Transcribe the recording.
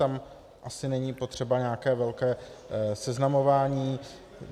Tam asi není potřeba nějaké velké seznamování.